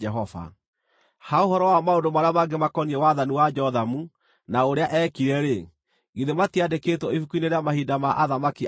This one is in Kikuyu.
Ha ũhoro wa maũndũ marĩa mangĩ makoniĩ wathani wa Jothamu, na ũrĩa eekire-rĩ, githĩ matiandĩkĩtwo ibuku-inĩ rĩa mahinda ma athamaki a Juda?